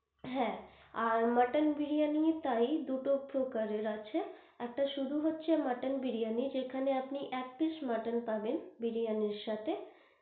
হ্যাঁ আর মটন বিরিয়ানির তাই দুটো প্রকারের আছে, একটা শুধু হচ্ছে মটন বিরিয়ানি যেখানে আপনি এক piece মটন পাবেন বিরিয়ানির সাথে।